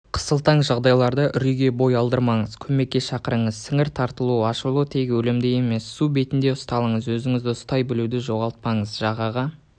қысылтаң жағдайларда үрейге бой алдырмаңыз көмекке шақырыңыз сіңір тартылу аурушылы тек өлімді емес су бетінде ұсталыңыз өзіңді ұстай білуді жоғалтпаңыз жағаға